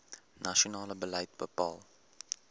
nasionale beleid bepaal